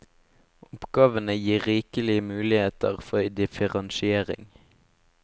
Oppgavene gir rikelige muligheter for differensiering.